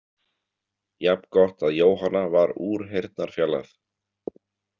Jafn gott að Jóhanna var úr heyrnarfjarlægð.